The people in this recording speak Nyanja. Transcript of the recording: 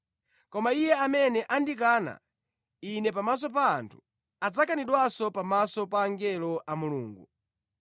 Koma iye amene andikana Ine pamaso pa anthu adzakanidwanso pamaso pa angelo a Mulungu.